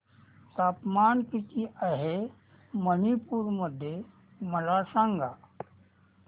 तापमान किती आहे मणिपुर मध्ये मला सांगा